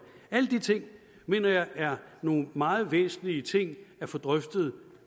alle de ting mener jeg er nogle meget væsentlige ting at få drøftet